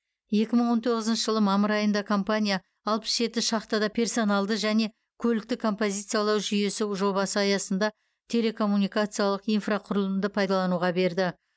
екі мың он тоғызыншы жылы мамыр айында компания алпыс жеті шахтада персоналды және көлікті позициялау жүйесі жобасы аясында телекоммуникациялық инфрақұрылымды пайдалануға берді